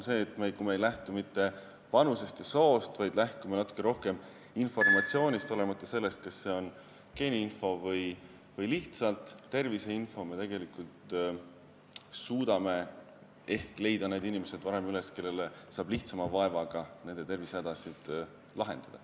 Samas, kui me ei lähtu mitte vanusest või soost, vaid lähtume natuke rohkem informatsioonist, olenemata sellest, kas see on geeniinfo või lihtsalt terviseinfo, siis me suudame ehk leida varem üles need inimesed, kelle tervisehädasid saab lihtsama vaevaga lahendada.